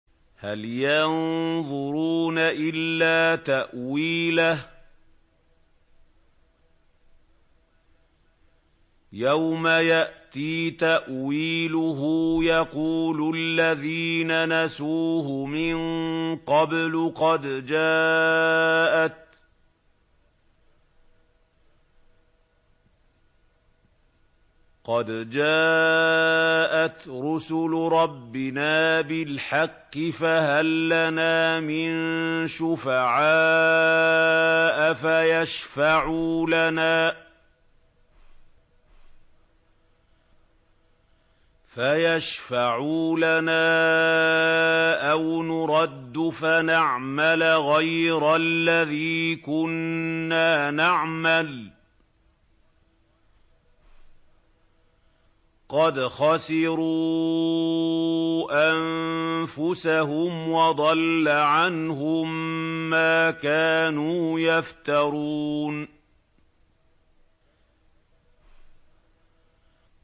هَلْ يَنظُرُونَ إِلَّا تَأْوِيلَهُ ۚ يَوْمَ يَأْتِي تَأْوِيلُهُ يَقُولُ الَّذِينَ نَسُوهُ مِن قَبْلُ قَدْ جَاءَتْ رُسُلُ رَبِّنَا بِالْحَقِّ فَهَل لَّنَا مِن شُفَعَاءَ فَيَشْفَعُوا لَنَا أَوْ نُرَدُّ فَنَعْمَلَ غَيْرَ الَّذِي كُنَّا نَعْمَلُ ۚ قَدْ خَسِرُوا أَنفُسَهُمْ وَضَلَّ عَنْهُم مَّا كَانُوا يَفْتَرُونَ